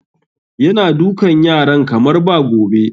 Yana dukan yaran kamar ba gobe